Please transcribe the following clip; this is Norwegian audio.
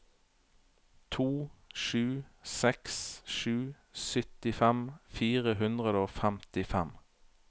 to sju seks sju syttifem fire hundre og femtifem